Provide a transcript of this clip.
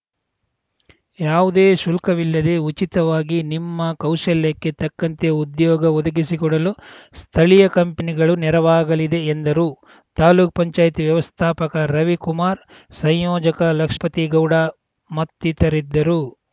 ಯಾವುದೇ ಶುಲ್ಕುವಿಲ್ಲದೆ ಉಚಿತವಾಗಿ ನಿಮ್ಮ ಕೌಶಲ್ಯಕ್ಕೆ ತಕ್ಕಂತೆ ಉದ್ಯೋಗ ಒದಗಿಸಿಕೊಡಲು ಸ್ಥಳಿಯ ಕಂಪನಿಗಳು ನೆರವಾಗಲಿದೆ ಎಂದರು ತಾಲೂಕು ಪಂಚಾಯತ್ ವ್ಯವಸ್ಥಾಪಕ ರವಿಕುಮಾರ್‌ ಸಂಯೋಜಕ ಲಕ್ಷ್ ಪತಿಗೌಡ ಮತ್ತಿತರಿದ್ದರು